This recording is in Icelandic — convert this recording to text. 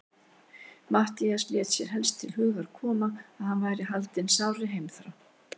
Matthías lét sér helst til hugar koma, að hann væri haldinn sárri heimþrá.